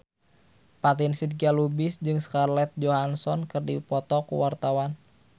Fatin Shidqia Lubis jeung Scarlett Johansson keur dipoto ku wartawan